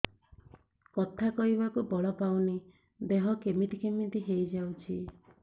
କଥା କହିବାକୁ ବଳ ପାଉନି ଦେହ କେମିତି କେମିତି ହେଇଯାଉଛି